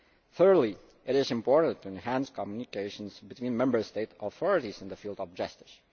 Thirdly, it is important to enhance communications between Member State authorities in the field of justice.